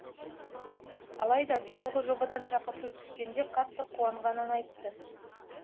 алайда биылғы жобадан шақырту түскенде қатты қуанғанын айтты